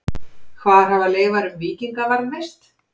Hvar hafa leifar um víkinga varðveist?